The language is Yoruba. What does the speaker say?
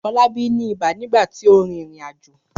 Fọlábí ní ibà nígbà tí ó rìnrìn-àjò.